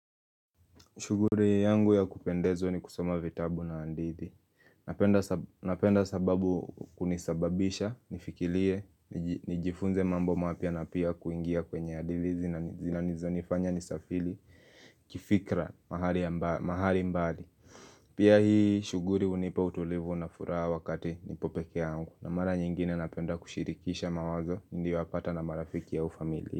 Shughuli yangu ya kupendezwa ni kusoma vitabu na hadithi. Napenda sababu kunisababisha, nifikirie nijifunze mambo mapya na pia kuingia kwenye hadithi zinazonifanya nisafiri kifikra mahali mbali. Pia hii shughuli hunipa utulivu na furaha wakati nipo peke yangu. Na mara nyingine napenda kushirikisha mawazo, niliyowapata na marafiki au familia.